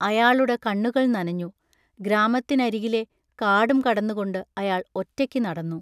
അയാളുടെ കണ്ണുകൾ നനഞ്ഞു. ഗ്രാമത്തിനരികിലെ കാടും കടന്നുകൊണ്ട് അയാൾ ഒറ്റയ്ക്ക് നടന്നു.